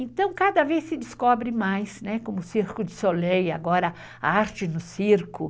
Então, cada vez se descobre mais, né? como o Circo de Soleil, agora a arte no circo.